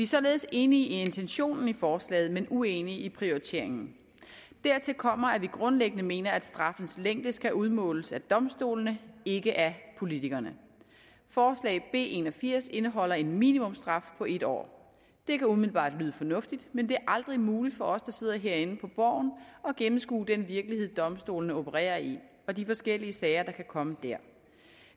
således enige i intentionen i forslaget men uenige i prioriteringen dertil kommer at vi grundlæggende mener at straffens længde skal udmåles af domstolene ikke af politikerne forslag b en og firs indeholder en minimumsstraf på en år det kan umiddelbart lyde fornuftigt men det er aldrig muligt for os der sidder herinde på borgen at gennemskue den virkelighed domstolene opererer i og de forskellige sager der kan komme der